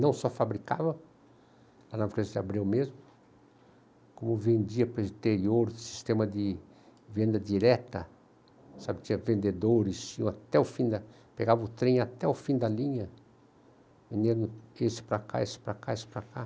Não só fabricava, lá na França se abriu mesmo, como vendia para o interior, sistema de venda direta, sabe, tinha vendedores, pegava o trem até o fim da linha, vendendo esse para cá, esse para cá, esse para cá.